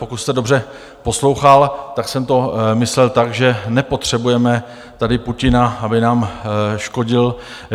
Pokud jste dobře poslouchal, tak jsem to myslel tak, že nepotřebujeme tady Putina, aby nám škodil.